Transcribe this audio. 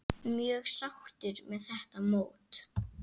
Mjög sáttur með þetta mót.